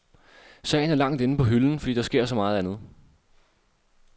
Sagen er langt inde på hylden, fordi der sker så meget andet.